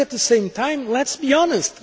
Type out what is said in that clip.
But, at the same time, let us be honest.